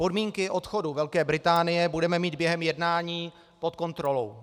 Podmínky odchodu Velké Británie budeme mít během jednání pod kontrolou.